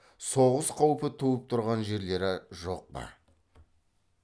соғыс қаупі туып тұрған жерлері жоқ па